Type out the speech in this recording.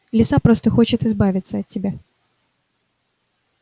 лиса просто хочет избавиться от тебя